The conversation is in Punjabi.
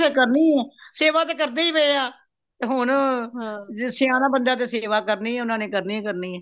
ਕਰਣੀ ਹੀ ਹੈ ਸੇਵਾ ਤੇ ਕਰਦੇ ਹੀ ਪਏ ਹਾ ਤੇ ਹੁਣ ਜੇ ਸਯਾਨਾ ਬੰਦਾ ਹੈ ਤੇ ਸੇਵਾ ਕਰਣੀ ਉਨ੍ਹਾਂਨੇ ਕਰਣੀ ਹੀ ਕਰਣੀ ਏ